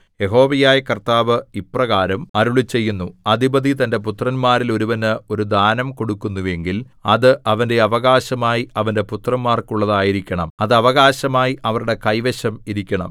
യഹോവയായ കർത്താവ് ഇപ്രകാരം അരുളിച്ചെയ്യുന്നു അധിപതി തന്റെ പുത്രന്മാരിൽ ഒരുവന് ഒരു ദാനം കൊടുക്കുന്നുവെങ്കിൽ അത് അവന്റെ അവകാശമായി അവന്റെ പുത്രന്മാർക്കുള്ളതായിരിക്കണം അത് അവകാശമായി അവരുടെ കൈവശം ഇരിക്കണം